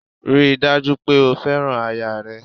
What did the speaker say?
Ríi dájú pè o fẹ́ràn aya rẹ